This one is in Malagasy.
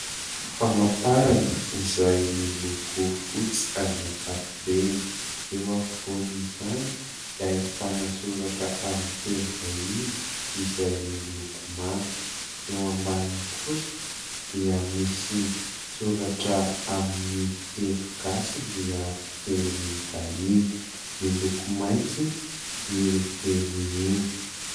Famantarana izay miloko fotsy amin'ny ankapobeny. Eo afovoany izany dia ahitana soratra amin'ny teny vahiny izay miloko manga. Eo ambaniny kosa dia misy soratra amin'ny teny gasy miharo teny vahiny miloko maitso io teny io.